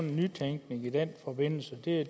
en nytænkning i den forbindelse det er